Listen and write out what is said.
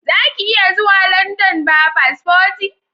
Zaka iya zuwa London ba paspoti